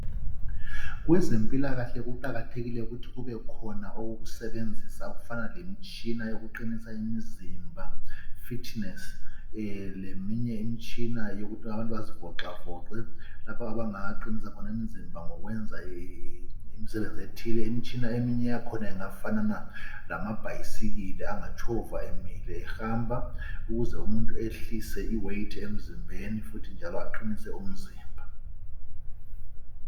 Kwezempilakahle kuqakathekile ukuthi kubekhona okokusebenzisa okufana lemitshina yokuqinisa umzimba "fitness" leminye imitshina yokuthi abantu bazivoxavoxe lapho abangaqinisa khona imizimba ngokwenza imisebenzi ethile. Imitshina eminye yakhona ingafanana lamabhayisikili, angatshova emile ehamba ukuze umuntu ehlise iweight emzimbeni futhi njalo aqinise umzimba.